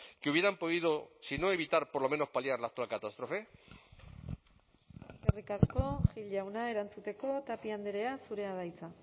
que hubieran podido si no evitar por lo menos paliar la actual catástrofe eskerrik asko gil jauna erantzuteko tapia andrea zurea da hitza